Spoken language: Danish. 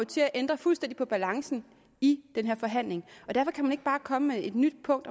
til at ændre fuldstændig på balancen i forhandlingen og derfor kan man ikke bare komme med et nyt punkt